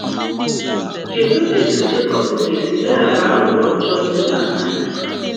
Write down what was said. Kedụ etu Jekọb ga-esi leghara aghụghọ ọjọọ Leban anya?